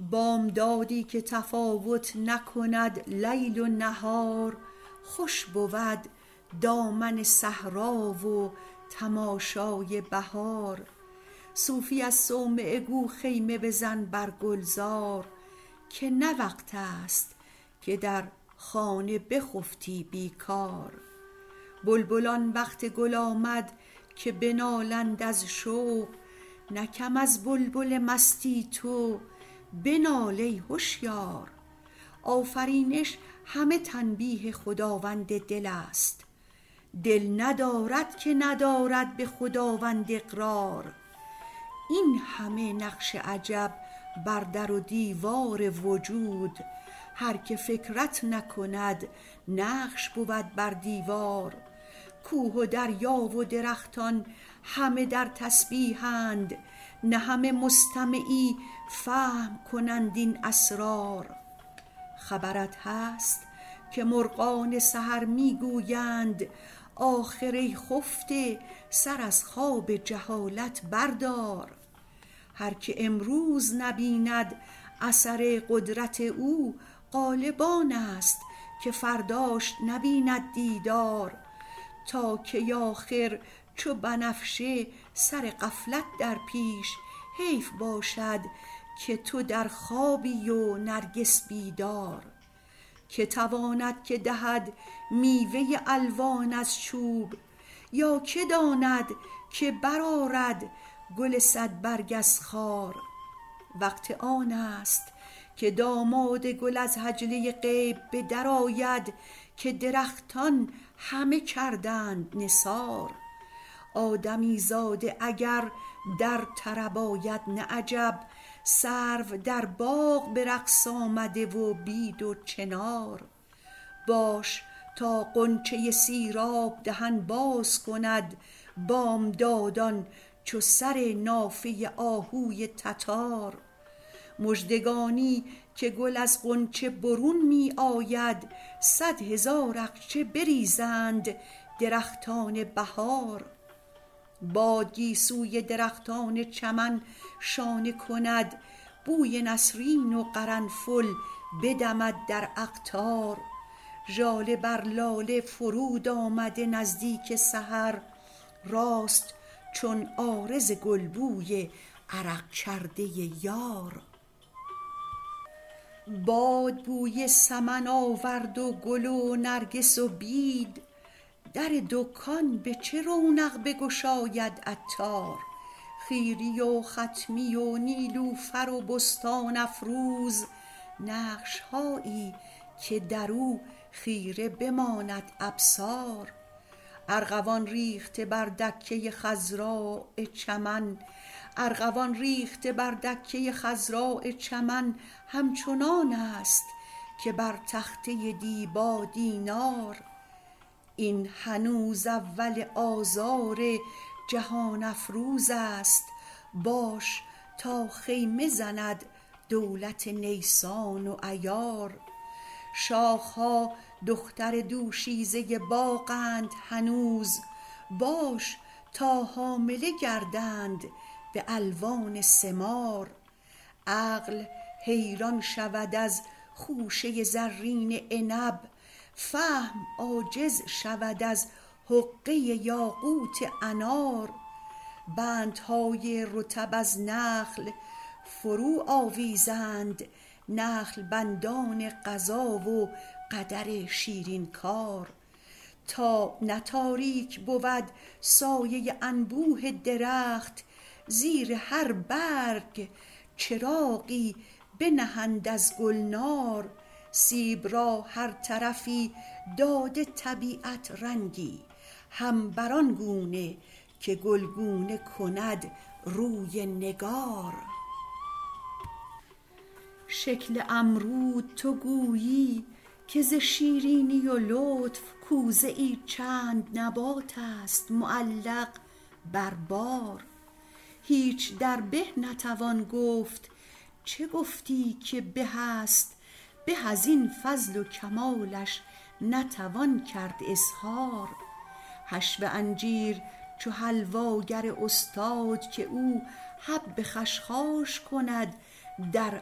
بامدادی که تفاوت نکند لیل و نهار خوش بود دامن صحرا و تماشای بهار صوفی از صومعه گو خیمه بزن بر گلزار که نه وقت است که در خانه بخفتی بیکار بلبلان وقت گل آمد که بنالند از شوق نه کم از بلبل مستی تو بنال ای هشیار آفرینش همه تنبیه خداوند دل ست دل ندارد که ندارد به خداوند اقرار این همه نقش عجب بر در و دیوار وجود هر که فکرت نکند نقش بود بر دیوار کوه و دریا و درختان همه در تسبیح اند نه همه مستمعی فهم کنند این اسرار خبرت هست که مرغان سحر می گویند آخر ای خفته سر از خواب جهالت بردار هر که امروز نبیند اثر قدرت او غالب آنست که فرداش نبیند دیدار تا کی آخر چو بنفشه سر غفلت در پیش حیف باشد که تو در خوابی و نرگس بیدار که تواند که دهد میوه الوان از چوب یا که داند که برآرد گل صد برگ از خار وقت آنست که داماد گل از حجله غیب به در آید که درختان همه کردند نثار آدمی زاده اگر در طرب آید نه عجب سرو در باغ به رقص آمده و بید و چنار باش تا غنچه سیراب دهن باز کند بامداد ان چو سر نافه آهوی تتار مژدگانی که گل از غنچه برون می آید صد هزار اقچه بریزند درختان بهار باد گیسوی درختان چمن شانه کند بوی نسرین و قرنفل بدمد در اقطار ژاله بر لاله فرود آمده نزدیک سحر راست چون عارض گل بوی عرق کرده یار باد بوی سمن آورد و گل و نرگس و بید در دکان به چه رونق بگشاید عطار خیری و خطمی و نیلوفر و بستان افروز نقش هایی که درو خیره بماند ابصار ارغوان ریخته بر دکه خضراء چمن همچنان ست که بر تخته دیبا دینار این هنوز اول آذار جهان افروزست باش تا خیمه زند دولت نیسان و ایار شاخ ها دختر دوشیزه باغ اند هنوز باش تا حامله گردند به الوان ثمار عقل حیران شود از خوشه زرین عنب فهم عاجز شود از حقه یاقوت انار بندهای رطب از نخل فرو آویزند نخل بند ان قضا و قدر شیرین کار تا نه تاریک بود سایه انبوه درخت زیر هر برگ چراغی بنهند از گلنار سیب را هر طرفی داده طبیعت رنگی هم بر آن گونه که گلگونه کند روی نگار شکل امرود تو گویی که ز شیرینی و لطف کوزه ای چند نبات است معلق بر بار هیچ در به نتوان گفت چو گفتی که به است به از این فضل و کمالش نتوان کرد اظهار حشو انجیر چو حلوا گر استاد که او حب خشخاش کند در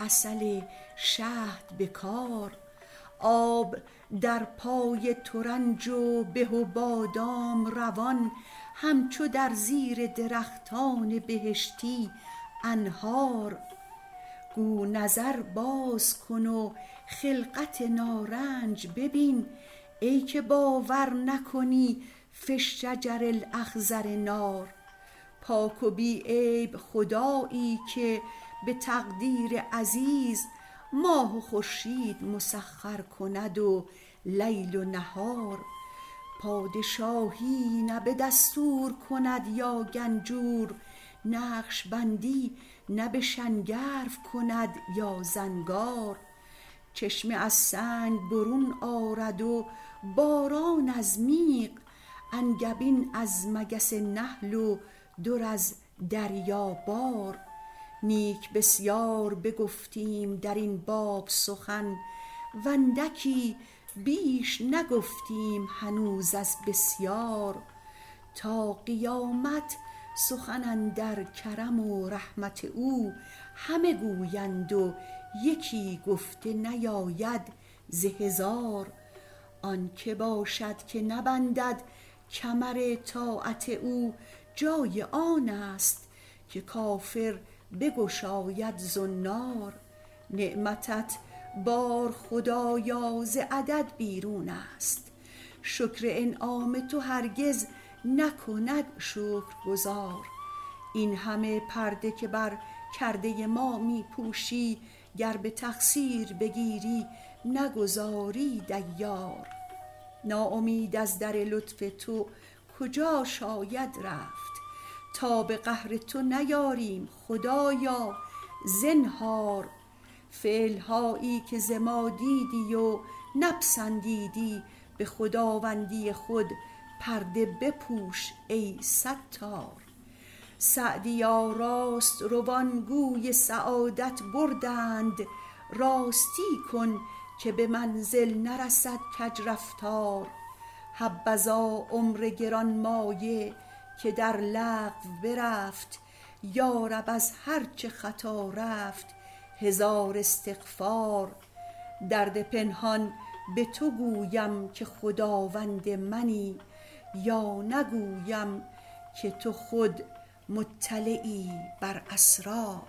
عسل شهد به کار آب در پای ترنج و به و بادام روان همچو در زیر درختان بهشتی أنهار گو نظر باز کن و خلقت نارنج ببین ای که باور نکنی في الشجر الأخضر نار پاک و بی عیب خدایی که به تقدیر عزیز ماه و خورشید مسخر کند و لیل و نهار پادشاهی نه به دستور کند یا گنجور نقشبندی نه به شنگرف کند یا زنگار چشمه از سنگ برون آید و باران از میغ انگبین از مگس نحل و در از دریا بار نیک بسیار بگفتیم درین باب سخن و اندکی بیش نگفتیم هنوز از بسیار تا قیامت سخن اندر کرم و رحمت او همه گویند و یکی گفته نیاید ز هزار آن که باشد که نبندد کمر طاعت او جای آنست که کافر بگشاید زنار نعمتت بار خدایا ز عدد بیرون است شکر انعام تو هرگز نکند شکرگزار این همه پرده که بر کرده ما می پوشی گر به تقصیر بگیری نگذاری دیار ناامید از در لطف تو کجا شاید رفت تاب قهر تو نیاریم خدایا زنهار فعل هایی که ز ما دیدی و نپسندیدی به خداوندی خود پرده بپوش ای ستار سعدیا راست روان گوی سعادت بردند راستی کن که به منزل نرود کج رفتار حبذا عمر گرانمایه که در لغو برفت یارب از هر چه خطا رفت هزار استغفار درد پنهان به تو گویم که خداوند منی یا نگویم که تو خود مطلعی بر اسرار